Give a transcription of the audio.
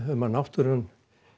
um að náttúran